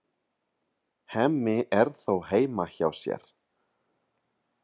Hemmi er þó heima hjá sér.